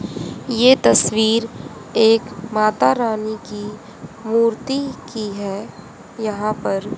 ये तस्वीर एक माता रानी की मूर्ति की है यहां पर--